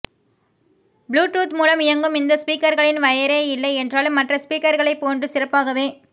Bluetooth மூலம் இயங்கும் இந்த ஸ்பீக்கர்களில் வயரே இல்லை என்றாலும் மற்ற ஸ்பீக்கர்களை போன்று சிறப்பாகவே